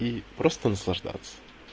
и просто наслаждаться